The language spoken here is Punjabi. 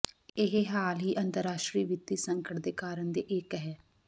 ਇਹ ਹਾਲ ਹੀ ਅੰਤਰਰਾਸ਼ਟਰੀ ਵਿੱਤੀ ਸੰਕਟ ਦੇ ਕਾਰਨ ਦੇ ਇੱਕ ਹੈ